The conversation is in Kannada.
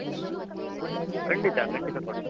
ಖಂಡಿತ ಖಂಡಿತ ಕೊಡ್ತೀನಿ.